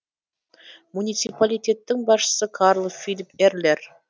муниципалитеттің басшысы карл филип эрлер